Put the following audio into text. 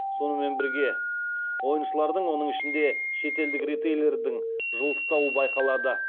сонымен бірге ойыншылардың оның ішінде шетелдік ритейлерлердің жылыстауы байқалады